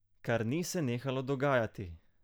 Kar ni se nehalo dogajati!